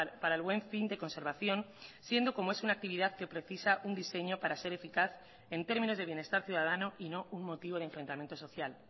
para el buen fin de conservación siendo como es una actividad que precisa un diseño para ser eficaz en términos de bienestar ciudadano y no un motivo de enfrentamiento social